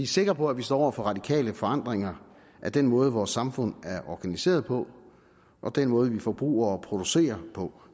sikre på at vi står over for radikale forandringer af den måde vores samfund er organiseret på og den måde vi forbruger og producerer på